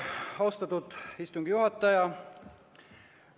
Austatud istungi juhataja!